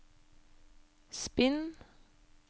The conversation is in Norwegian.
spinn